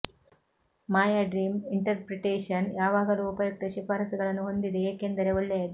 ಮಾಯಾ dream interpretation ಯಾವಾಗಲೂ ಉಪಯುಕ್ತ ಶಿಫಾರಸುಗಳನ್ನು ಹೊಂದಿದೆ ಏಕೆಂದರೆ ಒಳ್ಳೆಯದು